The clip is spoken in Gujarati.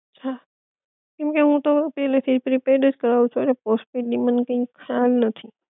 હા કેમકે હું તો પેલે થી પ્રીપેડ જ કરાવું છુ ઍટલે પોસ્ટપેડ ની મને કઈ ખ્યાલ નથી